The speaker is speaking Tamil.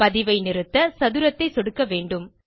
பதிவை நிறுத்த சதுரத்தை சொடுக்க வேண்டும்